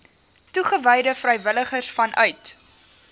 toegewyde vrywilligers vanuit